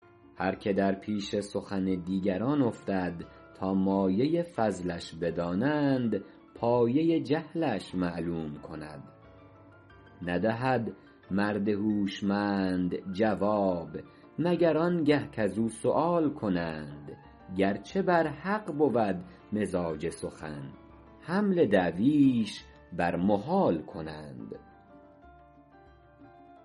هر که در پیش سخن دیگران افتد تا مایه فضلش بدانند پایه جهلش معلوم کند ندهد مرد هوشمند جواب مگر آن گه کز او سؤال کنند گرچه بر حق بود مزاج سخن حمل دعویش بر محال کنند